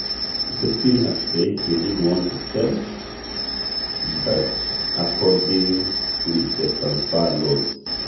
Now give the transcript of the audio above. Leipzing ejoito njere enata etu emir kake keipirare ncheriani enaidura.